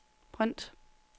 print